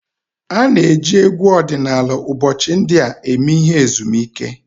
A na-eji egwu ọdịnala ụbọchị ndị a eme ihe ezumike